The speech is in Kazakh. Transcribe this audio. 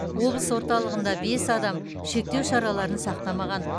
облыс орталығында бес адам шектеу шараларын сақтамаған